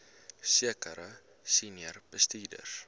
sekere senior bestuurders